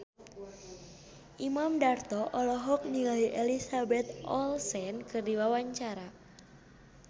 Imam Darto olohok ningali Elizabeth Olsen keur diwawancara